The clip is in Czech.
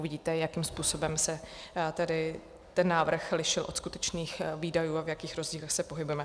Uvidíte, jakým způsobem se ten návrh lišil od skutečných výdajů a v jakých rozdílech se pohybujeme.